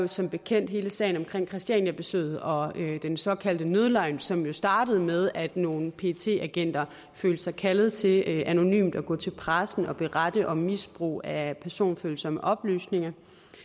som bekendt hele sagen om christianiabesøget og den såkaldte nødløgn som jo startede med at nogle pet agenter følte sig kaldet til anonymt at gå til pressen og berette om misbrug af personfølsomme oplysninger